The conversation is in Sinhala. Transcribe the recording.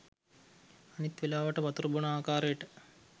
අනිත් වෙලාවට වතුර බොන ආකාරයට